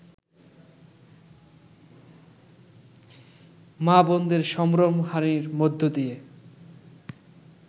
মা-বোনদের সম্ভ্রমহানির মধ্য দিয়ে